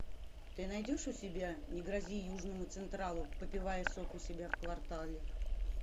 ты найдешь у себя не грози южному централу попивая сок у себя в квартале